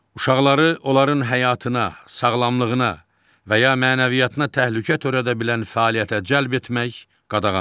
Uşaqları onların həyatına, sağlamlığına və ya mənəviyyatına təhlükə törədə bilən fəaliyyətə cəlb etmək qadağandır.